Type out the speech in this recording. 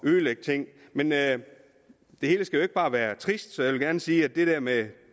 ødelægge ting men det hele skal jo ikke bare være trist så jeg vil gerne sige at det der med